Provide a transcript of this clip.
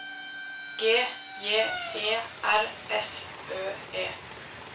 G J E R S Ø E